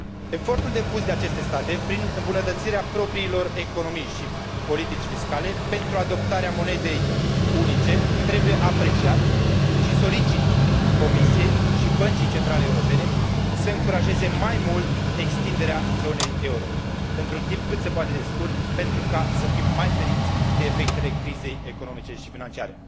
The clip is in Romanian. Efortul depus de aceste state, prin îmbunătățirea propriilor economii și politici fiscale pentru adoptarea monedei unice, trebuie apreciat și solicit Comisiei și Băncii Centrale Europene să încurajeze mai mult extinderea zonei euro într un timp cât se poate de scurt, pentru a fi mai feriți de efectele crizei economice și financiare